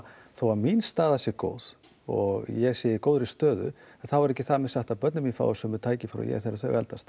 þó að mín staða sé góð og ég sé í góðri stöðu þá er ekki þar með sagt að börnin mín fái sömu tækifæri þegar þau eldast